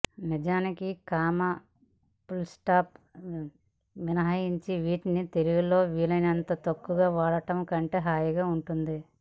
నిజానికి comma full stop మినహాయించి వీటిని తెలుగులో వీలైనంత తక్కువగా వాడడం కంటికి హాయిగా ఉంటుంది